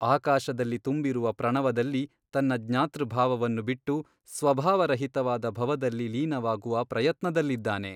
ಆಕಾಶದಲ್ಲಿ ತುಂಬಿರುವ ಪ್ರಣವದಲ್ಲಿ ತನ್ನ ಜ್ಞಾತೃಭಾವವನ್ನು ಬಿಟ್ಟು ಸ್ವಭಾವರಹಿತವಾದ ಭವದಲ್ಲಿ ಲೀನವಾಗುವ ಪ್ರಯತ್ನದಲ್ಲಿದ್ದಾನೆ.